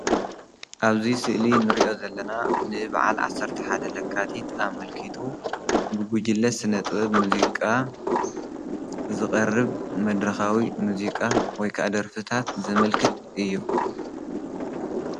አብዚ ስእሊ እንሪኦ ዘለና ንበዓል 11 ለካቲት አመልኪቱ ብጉጅለ ስነ-ጥበብ፣ ሙዙቃ ዝቐርብ መድረካዊ ሙዚቃ ወይ ከአ ደርፊታት ዘመልክት እዩ፡፡